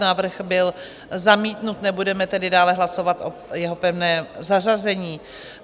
Návrh byl zamítnut, nebudeme tedy dále hlasovat o jeho pevném zařazení.